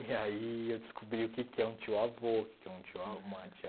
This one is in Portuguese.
E aí eu descobri o que que é um tio-avô, o que que é um tio a uma tia